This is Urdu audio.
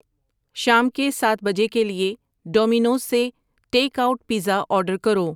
شام کے سات بجے کے لیے ڈومینوز سے ٹیک آؤٹ پیزا آرڈر کرو